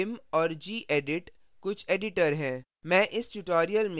vim और gedit कुछ editors हैं